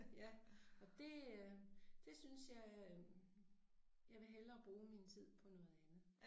Ja og det øh det synes jeg øh jeg vil hellere bruge min tid på noget andet